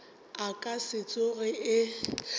e ka se tsoge e